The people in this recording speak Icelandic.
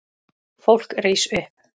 Fólk rís upp.